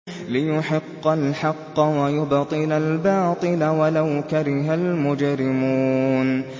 لِيُحِقَّ الْحَقَّ وَيُبْطِلَ الْبَاطِلَ وَلَوْ كَرِهَ الْمُجْرِمُونَ